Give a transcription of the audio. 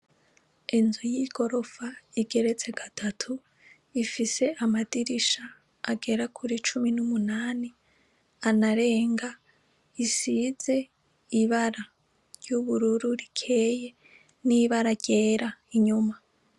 Inzu y'igorofa igeretse gatatu ifise amadirisha agera kuri cumi n'umunani anarenga isize ibara ry'ubururu rikeye n'ibara ryera inyuma.